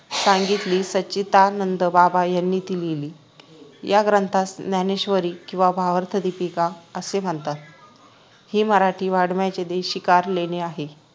सांगितली सच्चिदानंद बाबा यांनी ती लिहिली या ग्रंथास ज्ञानेश्वरी किंवा भावार्थदीपिका असे म्हणतात हे मराठी वाङ्मयाचे देशीकार लेणे आहे